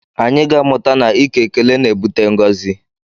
Anyị ga-amụta na ike ekele na-ebute ngọzi